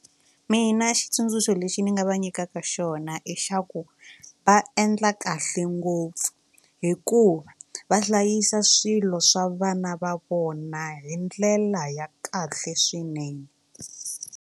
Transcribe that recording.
Mina xitsundzuxo lexi ni nga va nyikaka xona i xa ku va endla kahle ngopfu hikuva va hlayisa swilo swa vana va vona hi ndlela ya kahle swinene.